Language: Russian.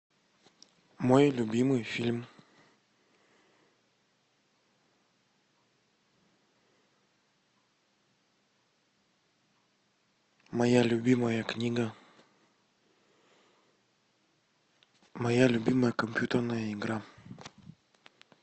мой любимый фильм моя любимая книга моя любимая компьютерная игра